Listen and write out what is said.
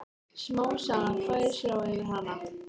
Smám saman færist ró yfir hana.